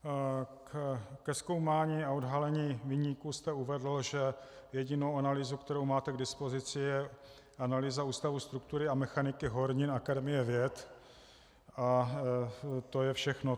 Ke zkoumání a odhalení viníků jste uvedl, že jedinou analýzou, kterou máte k dispozici, je analýza Ústavu struktury a mechaniky hornin Akademie věd, a to je všechno.